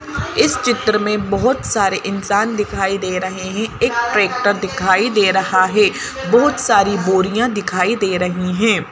इस चित्र में बहुत सारे इंसान दिखाई दे रहे हैं एक ट्रैक्टर दिखाई दे रहा है बहुत सारी बोरियां दिखाई दे रही हैं।